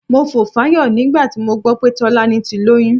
Mo fò fáyọ̀ nígbà tí mo gbọ́ pé Tọ́lání ti lóyún.